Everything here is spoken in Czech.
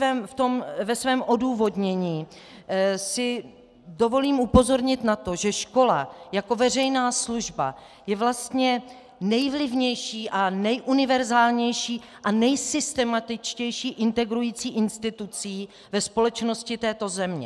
Ve svém odůvodnění si dovolím upozornit na to, že škola jako veřejná služba je vlastně nejvlivnější a nejuniverzálnější a nejsystematičtější integrující institucí ve společnosti této země.